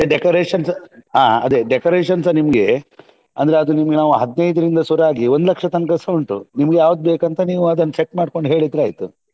ಹಾ ಮತ್ತೆ decorations ಅಹ್ ಅದೇ decorations ನಿಮ್ಗೆ ಅಂದ್ರೆ ಅದು ನಿಮ್ಗೆ ನಾವ್ ಹದಿನೈದರಿಂದ ಶುರುವಾಗಿ ಒಂದು ಲಕ್ಷದ್ ತನಕ ಸಾ ಉಂಟು ನಿಮ್ಗೆ ಯಾವ್ದ್ ಬೇಕಂತ ನೀವ್ ಅದನ್ set ಮಾಡ್ಕೊಂಡು ಹೇಳಿದ್ರೆ ಆಯ್ತು.